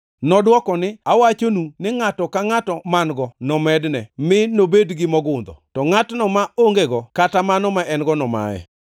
“Nodwoko ni, ‘Awachonu ni ngʼato ka ngʼato man-go nomedne mi nobed gi mogundho, to ngʼatno ma ongego, kata mano ma en-go nomaye.